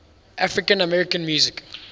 african american music